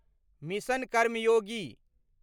mission Karmayogi